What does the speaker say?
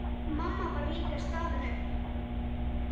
Mamma var líka staðin upp.